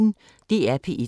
DR P1